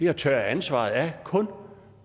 at tørre ansvaret af kun